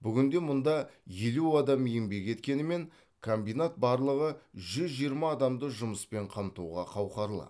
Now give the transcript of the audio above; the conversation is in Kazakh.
бүгінде мұнда елу адам еңбек еткенімен комбинат барлығы жүз жиырма адамды жұмыспен қамтуға қауқарлы